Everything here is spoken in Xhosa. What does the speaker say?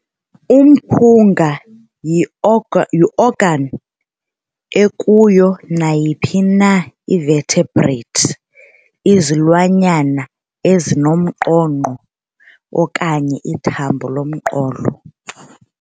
Umphunga yi-organ ekuyo nayiphi na ii-vertebrate izilwanyana ezinomnqonqo, okanye ithambo lomqolo.